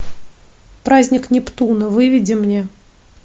праздник нептуна выведи мне